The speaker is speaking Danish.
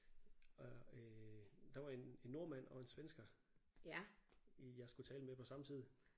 Og æh der var en nordmand og en svensker jeg skulle tale med på samme tid